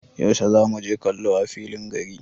Yaushe zamu je kallo a filin gari?